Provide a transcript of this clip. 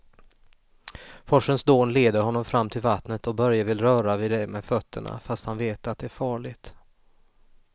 Forsens dån leder honom fram till vattnet och Börje vill röra vid det med fötterna, fast han vet att det är farligt.